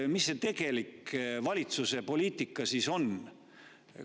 Missugune see tegelik valitsuse poliitika siis on?